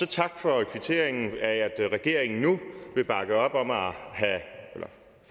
tak for kvitteringen af at regeringen nu vil bakke op om at